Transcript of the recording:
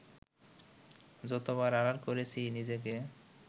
যতবার আড়াল করেছি নিজেকে